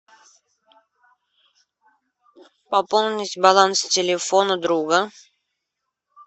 пополнить баланс телефона друга